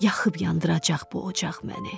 Yaxıb yandıracaq bu ocaq məni.